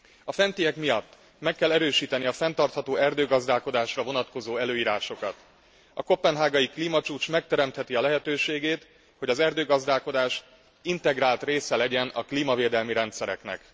A fentiek miatt meg kell erősíteni a fenntartható erdőgazdálkodásra vonatkozó előírásokat. A koppenhágai klímacsúcs megteremtheti a lehetőségét, hogy az erdőgazdálkodás integrált része legyen a klímavédelmi rendszereknek.